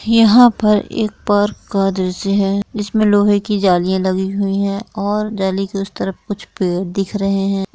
यहां पर एक पार्क का दृश्य है जिसमें लोहे की जालीया लगी हुई हैं और जाली के उसे तरफ कुछ पेड़ दिख रहे हैं।